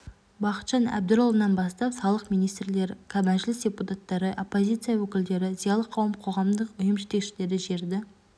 бақытжан әбдірұлынан бастап салалық министрлер мәжіліс депутаттары оппозияция өкілдері зиялы қауым қоғамдық ұйым жетекшілері жерді